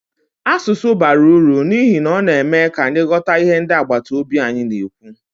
Asụsụ bara uru n'ihi na ọ na-eme ka anyị ghọta ihe ndị agbataobi anyị na-ekwu.